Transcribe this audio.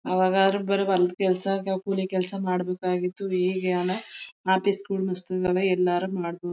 ಆವಾಗ ಆದರೆ ಬರ ಹೊಲದ್ ಕೆಲಸ ಕೂಲಿ ಕೆಲಸ ಮಾಡ್ಬೇಕಾಗಿತ್ತು ಈಗೆಲ್ಲ ಆಫೀಸಗಳು ಮಸ್ತ್ ಇದಾವೆ ಎಲ್ಲಾದ್ರೂ ಮಾಡಬಹುದು.